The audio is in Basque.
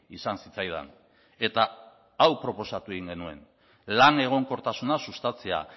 izan zitzaidan eta hau proposatu egin genuen lan egonkortasuna sustatzea